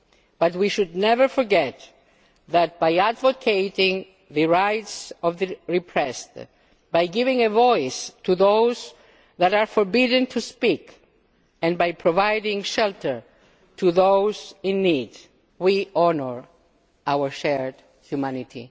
But we should never forget that by advocating the rights of the repressed, by giving a voice to those who are forbidden to speak, and by providing shelter to those in need, we honour our shared humanity.